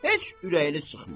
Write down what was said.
Heç ürəyini sıxma.